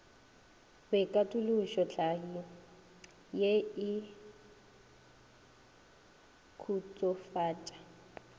boikatološo tlhahli ye e khutsofatša